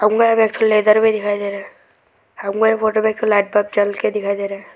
हमको यहां में एक ठो लैडर भी दिखाई दे रहे है हमको यह फोटो में एक लाइट बल्ब जवल के दिखाई दे रहा है।